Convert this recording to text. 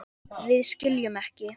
Við skiljum ekki.